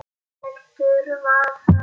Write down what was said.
Heldur var það svona!